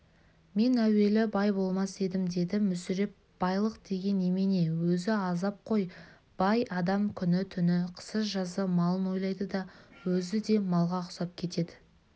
мен әуелі бай болмас едім деді мүсіреп байлық деген немене өзі азап қой бай адам күні-түні қысы-жазы малын ойлайды да өзі де малға ұқсап кетеді